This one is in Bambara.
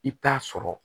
I bɛ taa sɔrɔ